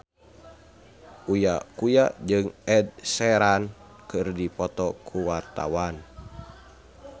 Uya Kuya jeung Ed Sheeran keur dipoto ku wartawan